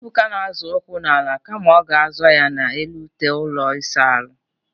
Ebuka na-azọ ụkwụ n'ala kama ọ ga-azọ ya n'elu ute ụlọ ịsa ahụ.